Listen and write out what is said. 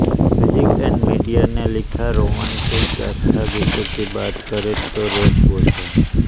music and media ने लिखा romantic गाथागीतों की बात करें तो रॉस बॉस है